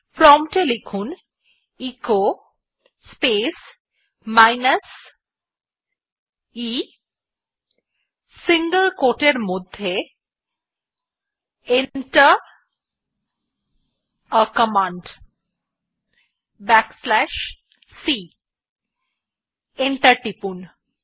prompt এ লিখুন echo space minus e single quote এর মধ্যে Enter a command back slash c এবং এন্টার টিপুন